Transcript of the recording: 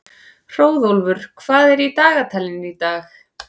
Hróðólfur, hvað er í dagatalinu í dag?